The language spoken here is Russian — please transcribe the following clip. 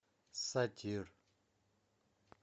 сатир